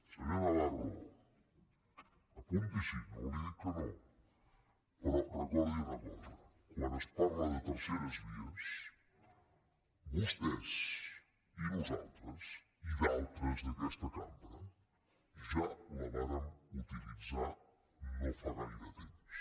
senyor navarro apuntis’hi no li dic que no però recordi una cosa quan es parla de terceres vies vostès i nosaltres i d’altres d’aquesta cambra ja la vàrem utilitzar no fa gaire temps